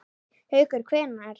Haukur: Hvenær?